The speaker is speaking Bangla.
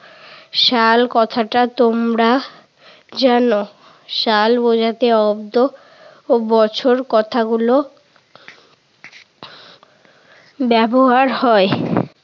সাল কথাটা তোমরা জান। সাল বুঝাতে অব্দ ও বছর কথাগুলো ব্যবহার হয়।